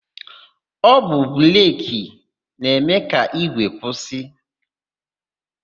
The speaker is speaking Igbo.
Ọ bụ breki na-eme ka ígwè kwụsị.